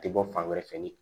Tɛ bɔ fan wɛrɛ fɛ